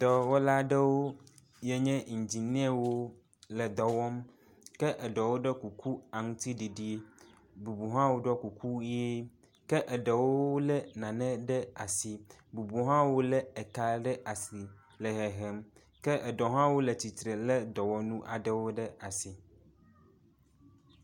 dɔwɔla ɖewo yinye indziniawo le edɔwɔm ke eɖɔwo ɖɔ kuku aŋtsiɖiɖi bubu hãwo ɖɔ kuku yie ke eɖewo le nane ɖe asi bubuo hã wóle eka ɖe asi le hehem ke eɖewo hã le atitre le dɔwɔnu aɖewo ɖe asi